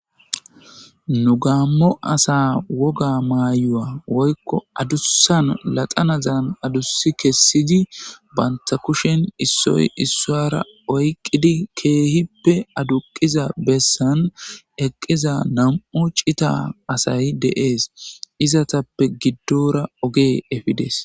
Nu gaammo asa woga maayuwa woykko adussan laxanazan adussi kessidi banta kushen issoy issuwara oyqqidi keehippe aduqiza bessan eqqiza nam7u cita asay de7ees. Izatappe giddoora ogey efides.